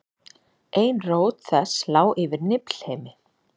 ein rót þess lá yfir niflheimi